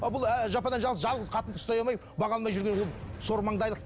ыыы бұл әлі жападан жалғыз жалғыз қатынды ұстай алмай баға алмай жүрген ол сормаңдайлық